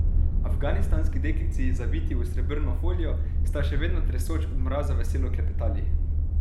Afganistanski deklici, zaviti v srebrno folijo, sta, še vedno tresoč od mraza, veselo klepetali.